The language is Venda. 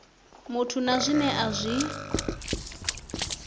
muthu na zwine a zwi